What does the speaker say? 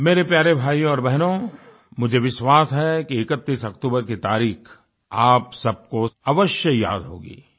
मेरे प्यारे भाइयों और बहनों मुझे विश्वास है कि 31 अक्तूबर की तारीख़ आप सबको अवश्य याद होगी